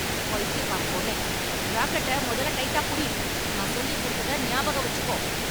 பைத்தியக்கார பொண்ணே. ரேக்கெட்ட முதல்ல டைட்டா புடி. நான் சொல்லிக் குடுத்ததை நியாபகம் வெச்சுக்கோ.